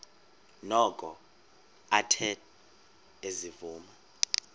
noko athe ezivuma